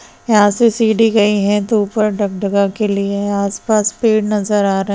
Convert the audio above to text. यहाँ से सीढ़ी गई हे तो के लिए आस-पास पेड़ नजर आ रहे हैं।